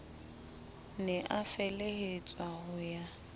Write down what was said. ne a felehetswa ho ya